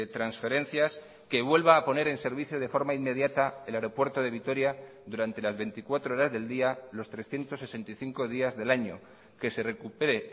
transferencias que vuelva a poner en servicio de forma inmediata a él aeropuerto de vitoria durante las veinticuatro horas del día los trescientos sesenta y cinco días del año que se recupere